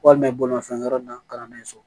Walima bolimafɛn na kalannen sɔrɔ